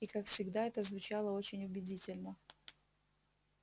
и как всегда это звучало очень убедительно